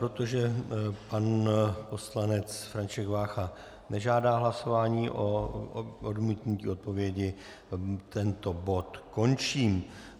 Protože pan poslanec František Vácha nežádá hlasování o odmítnutí odpovědi, tento bod končím.